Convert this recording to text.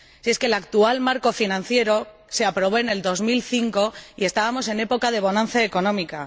¡Si es que el actual marco financiero se aprobó en 2005 y estábamos en época de bonanza económica!